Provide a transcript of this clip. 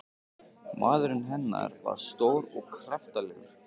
Maðurinn hennar var stór og kraftalegur.